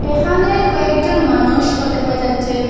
এখানে কয়েকজন মানুষও দেখা যাচ্ছে।